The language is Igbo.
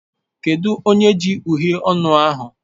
Kedu onye ji uhiè ọnụ ahụ?